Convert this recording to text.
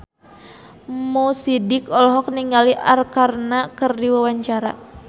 Mo Sidik olohok ningali Arkarna keur diwawancara